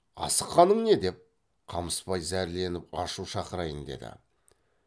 асыққаның не деп қамысбай зәрленіп ашу шақырайын деді